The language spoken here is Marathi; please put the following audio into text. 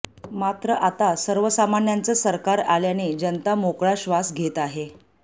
मात्र आता सर्वसामान्यांचं सरकार आल्याने जनता मोकळा श्वास घेत आहे